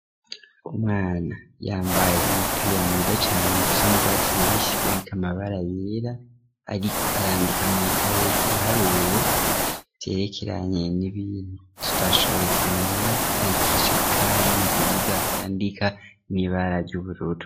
Umwana yambaye umupira mwiza cane usa nurwatsi rubisi uriko amabara yera, ariko arandika mwikaye ibiharuro, vyerekeranye n'ibintu tutashoboye kumenya yandikisha ikaramu nziza yandika nibara ry'ubururu.